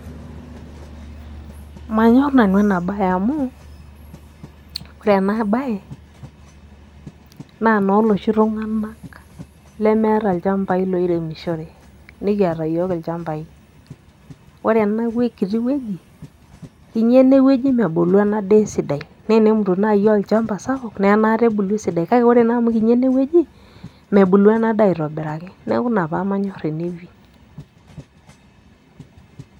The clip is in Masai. Manyorr nanu ena bae amu ore ena bae naa enooloshi tunganak lemeeta ilchambai loiremishore. Nikiata iyiook ilchambai. Ore ene kiti woji kinyi enewoji nebulu ena daa esidai. Naa tenemut naai aaolchamba sapuk naa anaata ebulu endaa esidai kake ore enaa amu kinyi ene woji mebulu ena daa aitobiraki neeku ina paamanyor ene pii.